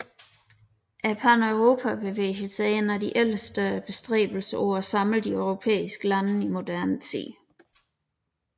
Paneuropabevægelsen er en af de ældste bestræbelser på at samle de europæiske lande i moderne tid